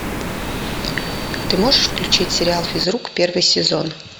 ты можешь включить сериал физрук первый сезон